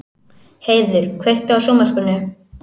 Heiður, kveiktu á sjónvarpinu.